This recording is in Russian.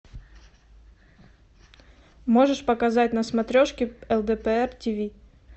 можешь показать на смотрешке лдпр тиви